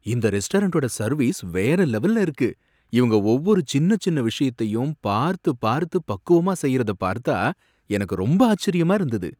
இந்த ரெஸ்டாரண்டோட சர்வீஸ் வேற லெவல்ல இருக்கு, இவங்க ஒவ்வொரு சின்னச் சின்ன விஷயத்தையும் பார்த்து பார்த்து பக்குவமா செய்யுறத பார்த்தா எனக்கு ரொம்ப ஆச்சரியமா இருந்தது.